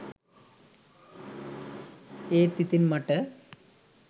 ඒත් ඉතින් මට